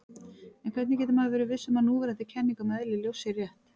En hvernig getur maður verið viss um að núverandi kenning um eðli ljós sé rétt?